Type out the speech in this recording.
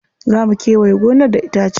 Za mu kewaye gonar da itace.